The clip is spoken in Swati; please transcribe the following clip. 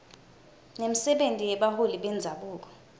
nemisebenti yebaholi bendzabuko